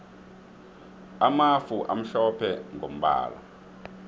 amafu amhlophe mgombala